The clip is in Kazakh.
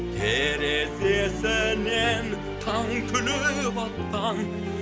терезесінен таң күліп атқан